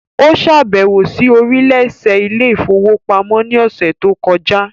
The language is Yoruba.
Ó ṣàbẹ̀wò sí oríléeṣẹ́ ilé ìfowópamọ́ ní ọ̀sẹ̀ tó kọjá.